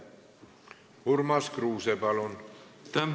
Urmas Kruuse, palun!